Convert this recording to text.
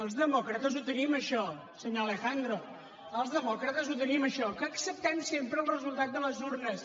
els demòcrates ho tenim això senyor alejandro els demòcrates ho tenim això que acceptem sempre el resultat de les urnes